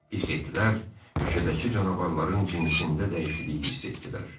İxetlərdəki, meşədəki canavarların cinsində dəyişiklik hiss etdilər.